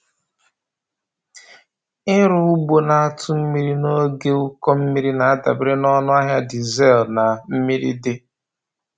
Ịrụ ugbo na-atụ mmiri n’oge ụkọ mmiri na-adabere na ọnụ ahịa dizel na mmiri dị.